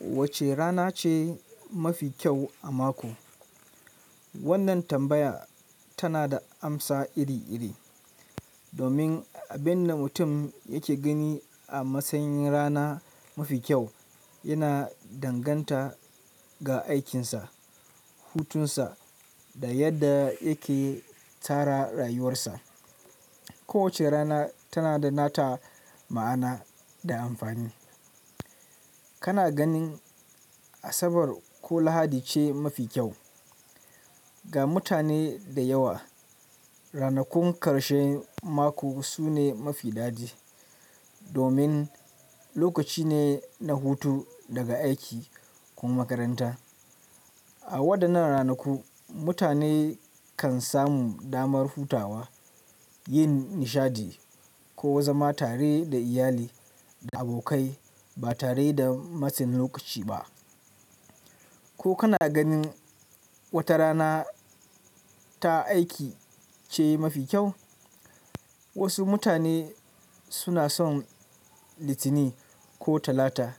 Wace rana ce mafi kyau a mako? Wannan tambaya tana da amsa iri-iri, domin abin da mutum yake gani a matsayin rana mafi kyau yana danganta ga aikinsa, hutunsa da yadda yake tsara rayuwarsa. Kowace rana tana da nata ma'ana da amfani. Kana ganin Asabar ko Lahadi ce mafi kyau? Ga mutane da yawa, ranakun ƙarshen mako sune mafi daɗi domin lokaci ne na hutu daga aiki ko makaranta. A waɗannan ranaku, mutane kan samu damar hutawa, yin nishaɗi ko zama tare da iyali da abokai ba tare da matsin lokaci ba. Ko kana ganin wata rana ta aiki ce mafi kyau? Wasu mutane suna son Litinin ko Talata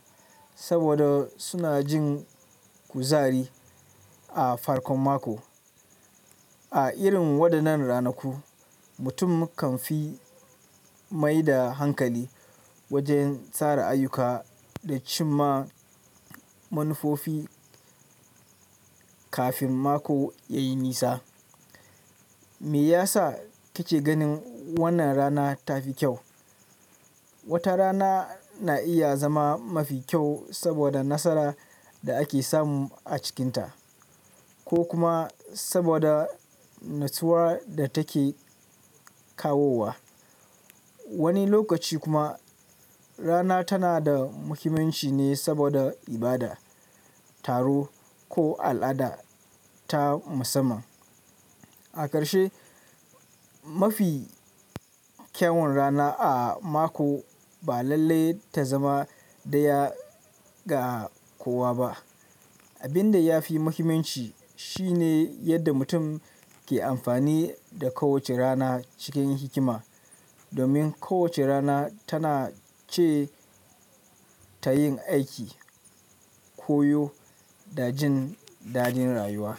saboda suna jin kuzari a farkon mako. A irin waɗannan ranaku, mutum kan fi mai da hankali wajen tsara ayyuka da cim ma manufofi kafin mako ya yi nisa. Me ya sa kake ganin wannan rana ta fi kyau? Wata rana na iya zama mafi kyau saboda nasara da ake samu a cikinta, ko kuma saboda natsuwar da take kawowa. Wani lokaci kuma rana tana da muhimmanci ne saboda ibada, taro ko al'ada ta musamman. A ƙarshe, mafi kyawun rana a mako ba lallai ta zama ɗaya ga kowa ba. Abin da ya fi muhimmanci shi ne yadda mutum ke amfani da kowace rana cikin hikima, domin kowace rana tana ce ta yin aiki, koyo da jin daɗin rayuwa.